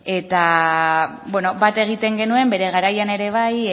eta bat egiten genuen bere garaian ere bai